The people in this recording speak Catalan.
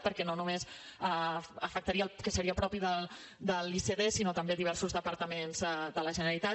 perquè no només afectaria el que seria propi de l’icd sinó també de diversos departaments de la generalitat